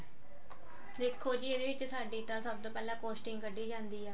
ਦੇਖੋ ਜੀ ਇਹ ਇਥੇ ਸਾਡੇ ਤਾਂ ਸਭ ਤੋਂ ਪਹਿਲਾਂ costing ਕਢੀ ਜਾਂਦੀ ਆ